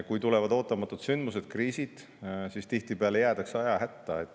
Kui tulevad ootamatud sündmused, kriisid, siis tihtipeale jäädakse ajahätta.